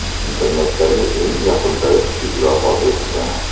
Internetdagi eng yoqimtoy kuchuk vafot etdi.